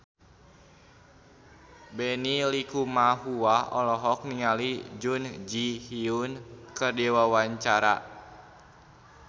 Benny Likumahua olohok ningali Jun Ji Hyun keur diwawancara